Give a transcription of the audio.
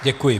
Děkuji.